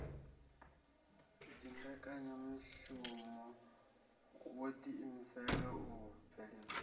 dzimbekanyamushumo wo ḓiimisela u bveledzisa